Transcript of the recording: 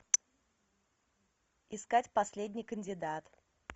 искать последний кандидат